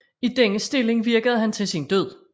I denne Stilling virkede han til sin Død